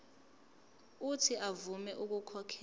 uuthi avume ukukhokhela